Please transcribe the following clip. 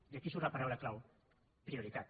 i aquí surt la paraula clau prioritat